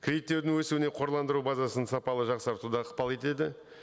кредиттеудің өсуіне қорландыру базасын сапалы жақсарту да ықпал етеді